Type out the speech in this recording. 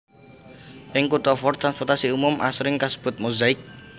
Ing kutha Fort transportasi umum asring kasebut Mozaik